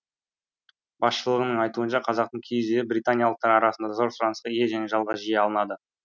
басшылығының айтуынша қазақтың киіз үйі британиялықтар арасында зор сұранысқа ие және жалға жиі алынады